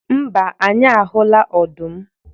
mba, anyị ahụla ọdụm